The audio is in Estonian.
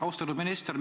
Austatud minister!